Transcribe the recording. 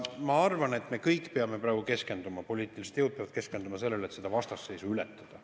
Ma arvan, et me kõik peame praegu keskenduma, poliitilised jõud peavad keskenduma sellele, et seda vastasseisu ületada.